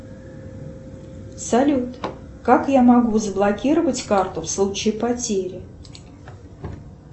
салют как я могу заблокировать карту в случае потери